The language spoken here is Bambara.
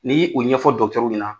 Ni y'i u ɲɛfɔ ɲɛna.